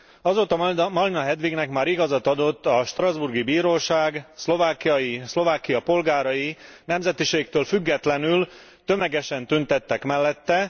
Azóta Malina Hedvignek már igazat adott a strasbourgi bíróság, Szlovákia polgárai nemzetiségtől függetlenül tömegesen tüntettek mellette.